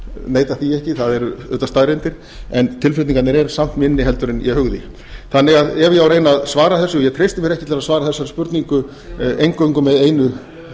neita því ekki það eru auðvitað staðreyndir en tilflutningarnir eru samt minni en ég hugði ef ég á því að reyna að svara þessu ég treysti mér ekki til þess að svara þessari spurningu eingöngu með einu